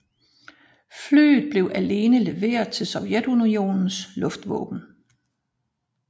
Flyet blev alene leveret til Sovjetunionens luftvåben